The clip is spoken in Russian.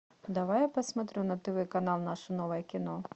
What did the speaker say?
давай я посмотрю на тв канал наше новое кино